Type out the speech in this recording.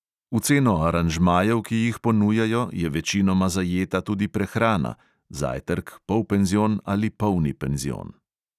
V ceno aranžmajev, ki jih ponujajo, je večinoma zajeta tudi prehrana (zajtrk, polpenzion ali polni penzion).